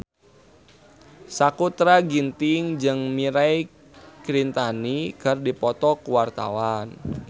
Sakutra Ginting jeung Mirei Kiritani keur dipoto ku wartawan